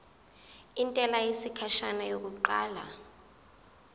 intela yesikhashana yokuqala